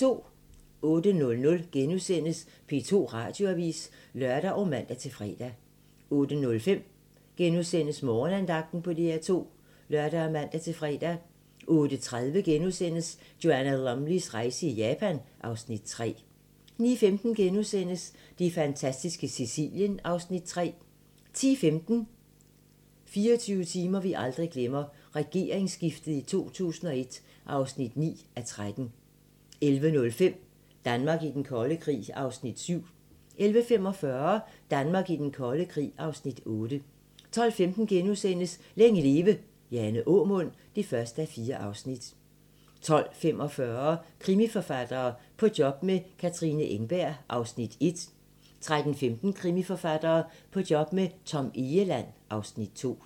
08:00: P2 Radioavis *(lør og man-fre) 08:05: Morgenandagten på DR2 *(lør og man-fre) 08:30: Joanna Lumleys rejse i Japan (Afs. 3)* 09:15: Det fantastiske Sicilien (Afs. 3)* 10:15: 24 timer, vi aldrig glemmer - Regeringsskiftet i 2001 (9:13) 11:05: Danmark i den kolde krig (Afs. 7) 11:45: Danmark i den kolde krig (Afs. 8) 12:15: Længe leve - Jane Aamund (1:4)* 12:45: Krimiforfattere - På job med Katrine Engberg (Afs. 1) 13:15: Krimiforfattere - På job med Tom Egeland (Afs. 2)